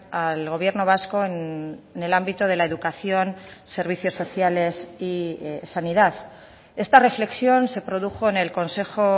al gobierno vasco en el ámbito de la educación servicios sociales y sanidad esta reflexión se produjo en el consejo